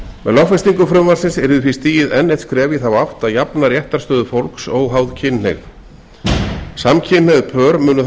lögfestingu frumvarpsins yrði því stigið enn eitt skref í þá átt að jafna réttarstöðu fólks óháð kynhneigð samkynhneigð pör munu þá